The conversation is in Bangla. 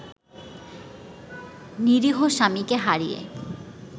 নিরীহ স্বামীকে হারিয়ে